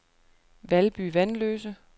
Valby Vanløse